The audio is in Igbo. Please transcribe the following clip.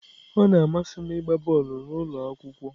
Ọ na-amasị m ịgba bọọlụ n'ụlọ akwụkwọ.